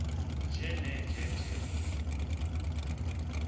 nje nenje nje